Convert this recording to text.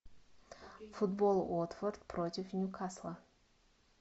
футбол уотфорд против ньюкасла